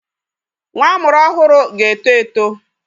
Nwa amụrụ ọhụrụ ga-eto eto.